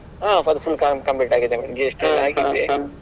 ಹ ಅದು full com~ complete ಆಗಿದೆ madam GST ಆಗಿದೆ.